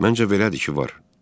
Məncə belədir ki, var.